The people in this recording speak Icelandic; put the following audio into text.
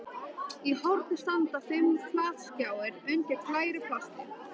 Í horni standa fimm flatskjáir undir glæru plasti.